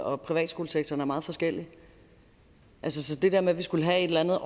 og privatskolesektoren er meget forskellige så til det der med at vi skulle have et eller andet